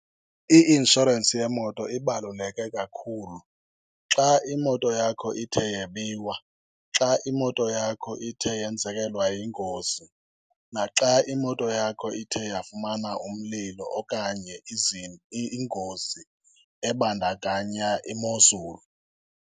I-insurance yemoto ibaluleke kakhulu. Xa imoto yakho ithe yebiwa, xa imoto yakho ithe yenzekelwa yingozi, naxa imoto yakho ithe yafumana umlilo okanye ingozi ebandakanya imozulu.